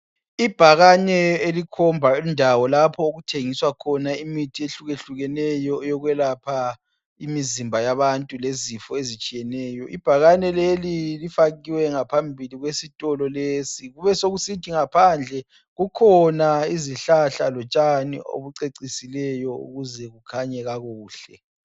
Ibhakane elikhomba indawo lapho okuthengiswa khona imithi ehlukahlukeneyo eyokwelapha imizimba yabantu lezifo ezitshiyeneyo. Ibhakane leli lifakiwe ngaphambili kwesitolo lesi. Kube sokusithi ngaphandle kukhona izihlahla lotshani obucecisileyo ukuze kukhanye kakuhle.